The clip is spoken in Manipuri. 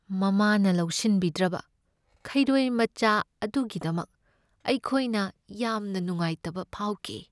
ꯃꯃꯥꯅ ꯂꯧꯁꯤꯟꯕꯤꯗ꯭ꯔꯕ ꯈꯩꯔꯣꯏ ꯃꯆꯥ ꯑꯗꯨꯒꯤꯗꯃꯛ ꯑꯩꯈꯣꯏꯅ ꯌꯥꯝꯅ ꯅꯨꯡꯉꯥꯏꯇꯕ ꯐꯥꯎꯈꯤ ꯫